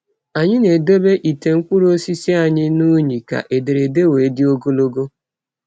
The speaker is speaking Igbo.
Anyị na-edobe ite mkpụrụ osisi anyị na unyi ka ederede wee dị ogologo.